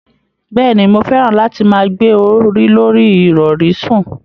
Bẹ́ẹ̀ni, mo fẹ́ràn láti máa gbé orí lorí ìrọ̀rí sùn.